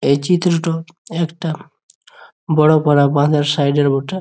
এই চিত্র টা একটা বড়ো বড়ো বাঁধের সাইড -এর বটে।